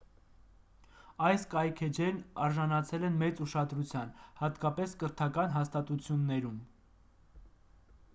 այս կայքէջերն արժանացել են մեծ ուշադրության հատկապես կրթական հաստատություններում